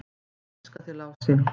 """Ég elska þig, Lási."""